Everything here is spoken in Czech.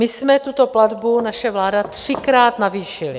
My jsme tuto platbu, naše vláda, třikrát navýšili.